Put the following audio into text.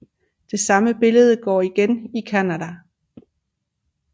Det samme billede går igen i Canada